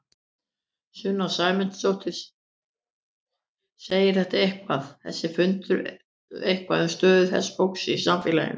Sunna Sæmundsdóttir: Segir þetta eitthvað, þessi fundur eitthvað um stöðu þessa fólks í samfélaginu?